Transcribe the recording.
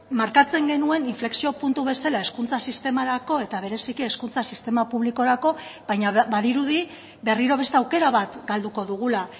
markatzen genuen inflexio puntu bezala hezkuntza sistemarako eta bereziki hezkuntza sistema publikorako baina badirudi berriro beste aukera bat galduko dugula